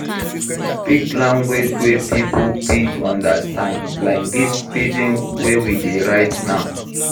Speak language wey pipo fit understand like this pidgin wey we dey write now